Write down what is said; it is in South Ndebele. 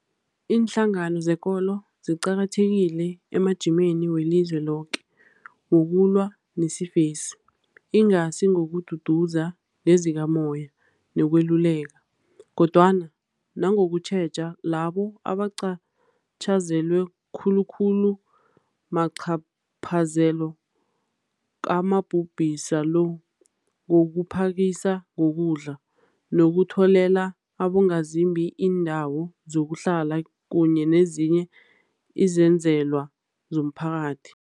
Iinhlangano zekolo ziqakathekile emajimeni welizwe loke wokulwa nesifesi, ingasi ngokududuza ngezikamoya nokweluleka, kodwana nangokutjheja labo abacatjhazelwe khulu khulu macaphazelo kamabhubhisa lo, ngokuphakisa ngokudla, nokutholela abongazimbi iindawo zokuhlala kunye nezinye izenzelwa zomphakathi.